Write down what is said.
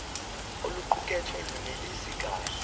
oluqukethwe lunelisi kahle